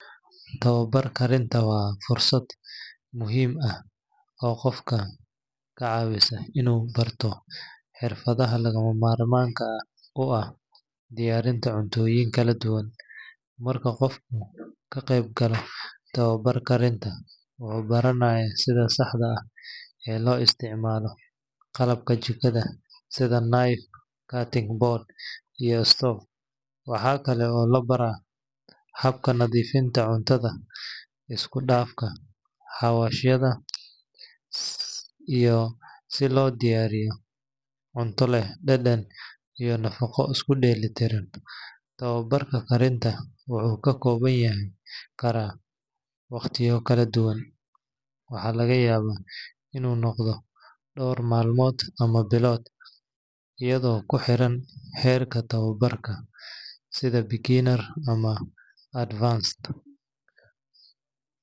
Tababarka karinta waa fursad muhiim ah oo qofka ka caawisa inuu barto xirfadaha lagama maarmaanka u ah diyaarinta cuntooyin kala duwan. Marka qofku ka qeybgalayo tababar karinta, wuxuu baranayaa sida saxda ah ee loo isticmaalo qalabka jikada sida knife, cutting board, iyo stove. Waxa kale oo la baraa habka nadiifinta cuntada, isku dhafka xawaashyada, iyo sida loo diyaariyo cunto leh dhadhan iyo nafaqo isku dheelitiran. Tababarka karinta wuxuu ka koobnaan karaa waqtiyo kala duwan – waxaa laga yaabaa inuu noqdo dhowr maalmood ama bilo, iyadoo kuxiran heerka tababarka, sida beginner ama advanced.